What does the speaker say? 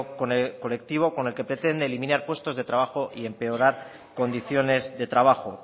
colectivo con el que pretende eliminar puestos de trabajo y empeorar condiciones de trabajo